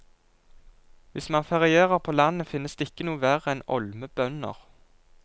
Hvis man ferierer på landet, finnes det ikke noe verre enn olme bønder.